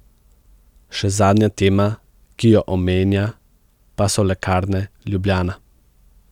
Še zadnja tema, ki jo omenja, pa so Lekarne Ljubljana.